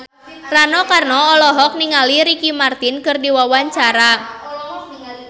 Rano Karno olohok ningali Ricky Martin keur diwawancara